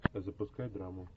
запускай драму